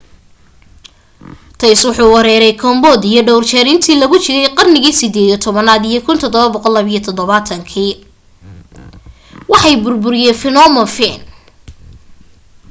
thais wuxuu weeraray cambodia dhawr jeer intii lagu jiray qarnigii 18aad iyo 1772 waxay burburiyeen phnom phen